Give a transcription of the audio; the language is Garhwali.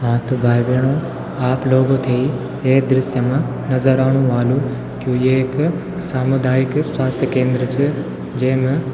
हाँ तो भाई-भैणो आप लोगो थे ये दृश्य मा नजर आणु वालू की यु एक सामुदायिक स्वाथ्य केंद्र च जेमा --